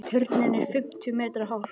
Turninn er fimmtíu metra hár.